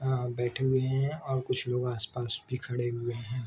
अ बैठे हुए हैं और कुछ लोग आस-पास भी खड़े हुए हैं।